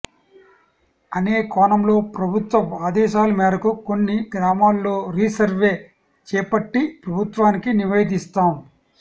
అనే కోణంలో ప్రభుత్వ ఆదేశాల మేరకు కొన్ని గ్రామాల్లో రీ సర్వే చేపట్టి ప్రభుత్వానికి నివేదిస్తాం